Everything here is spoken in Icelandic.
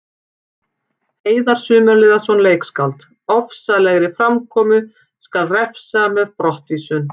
Heiðar Sumarliðason, leikskáld: Ofsalegri framkomu skal refsa með brottvísun.